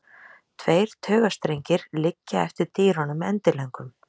Tveir taugastrengir liggja eftir dýrunum endilöngum.